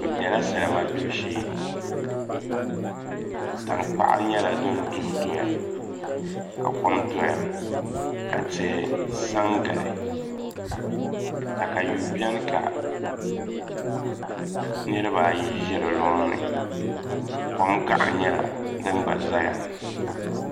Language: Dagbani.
Bi biɛla salima gbibu shee tankpaɣu nyɛla din duɣu doya ka kom doya ka tihi sa n gili katayuu biɛni ka nirabaayi ʒi di loŋni kom gaɣa nyɛla din gba ʒɛya